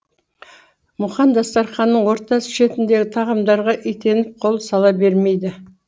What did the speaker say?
мұхаң дастарханның орта шеніндегі тағамдарға итеніп қол сала бермейді